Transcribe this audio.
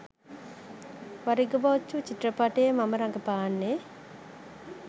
වරිග‍පොජ්ජ චිත්‍රපටයේ මම රඟපාන්නේ